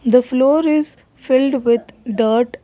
the floor is filled with dirt.